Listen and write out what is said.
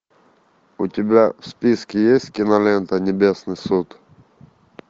у тебя в списке есть кинолента небесный суд